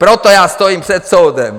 Proto já stojím před soudem!